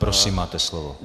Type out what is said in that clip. Prosím, máte slovo.